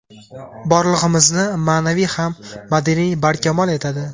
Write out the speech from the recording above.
Borlig‘imizni ma’naviy ham madaniy barkamol etadi.